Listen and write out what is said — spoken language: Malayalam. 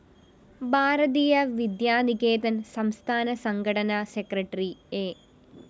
ഭാരതീയ വിദ്യാനികേതന്‍ സംസ്ഥാന സംഘടനാ സെക്രട്ടറി എ